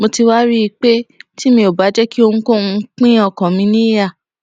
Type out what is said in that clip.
mo ti wá rí i pé tí mi ò bá jé kí ohunkóhun pín ọkàn mi níyà